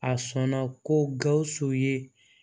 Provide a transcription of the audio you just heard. A sɔnna ko gawusu ye